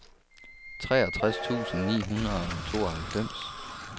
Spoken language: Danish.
treogtres tusind ni hundrede og tooghalvfems